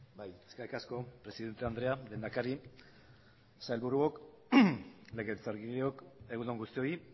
bai eskerrik asko presidente andrea lehendakari sailburuok legebiltzarkideok egun on guztioi